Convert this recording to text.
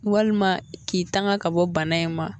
Walima k'i tanga ka bɔ bana in ma